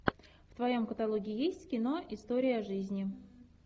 в твоем каталоге есть кино история жизни